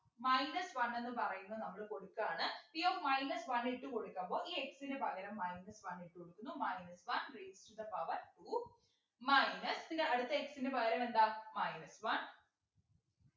minus one എന്ന് പറയുന്ന നമ്മൾ കൊടുക്കാണ് p of minus one ഇട്ടു കൊടുക്കുമ്പോ ഈ x നു പകരം minus one ഇട്ടു കൊടുക്കുന്നു minus one raised to the power two minus പിന്നെ അടുത്ത x നു പകരം എന്താ minus one